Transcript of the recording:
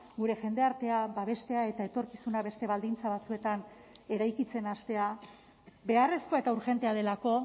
gure jendartea babestea eta etorkizuna beste baldintza batzuetan eraikitzen hastea beharrezkoa eta urgentea delako